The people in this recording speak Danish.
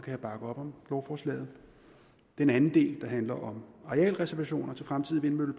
jeg bakke op om lovforslaget den anden del der handler om arealreservationer til fremtidige